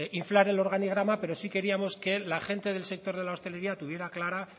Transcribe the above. inflar el organigrama pero sí queríamos que la gente del sector de la hostelería tuviera clara